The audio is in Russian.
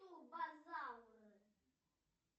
турбозавр